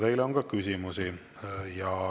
Teile on ka küsimusi.